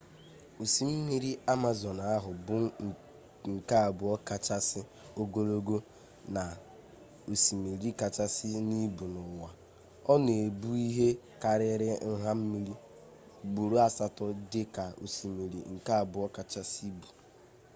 osimiri amazọn ahụ bụ nke abụọ kachasị ogologo na osimiri kachasị n'ibu n'ụwa ọ na-ebu ihe karịrị nha mmiri ugboro asatọ dị ka osimiri nke abụọ kachasị ibu